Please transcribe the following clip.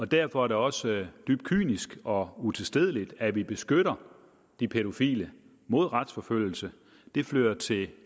derfor er det også dybt kynisk og utilstedeligt at vi beskytter de pædofile mod retsforfølgelse det fører til